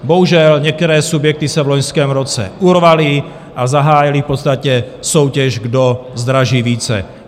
Bohužel, některé subjekty se v loňském roce urvaly a zahájily v podstatě soutěž, kdo zdraží více.